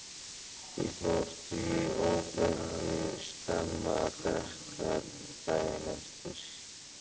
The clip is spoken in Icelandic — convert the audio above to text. Ég fór því óvenju snemma að drekka daginn eftir.